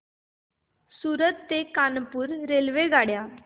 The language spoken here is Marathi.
सूरत ते कानपुर रेल्वेगाड्या